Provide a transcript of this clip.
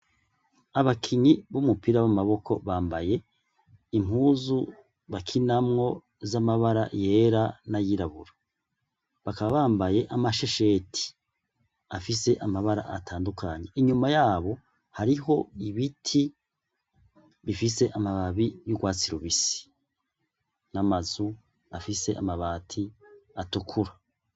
Abakinyi b’umupira w’amaboko bambaye impuzu bakinamwo z’amabara yera nay’irabura, bakaba bambaye amashesheti afise amabara atandukanye inyuma yabo hariho ibiti bifise amababi y’urwatsi rubisi n’ama nzu afise amabati atukura.